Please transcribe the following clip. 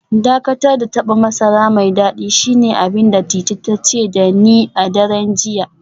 Dakatar da taba masara mai dadi shine abin da Titi ta ce da ni a daren jiya